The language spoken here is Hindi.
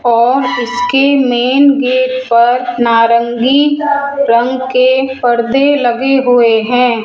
और उसके मेंन गेट पर नारंगी रंग के परदे लगे हुए है।